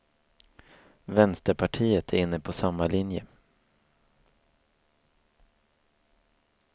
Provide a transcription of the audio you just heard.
Vänsterpartiet är inne på samma linje.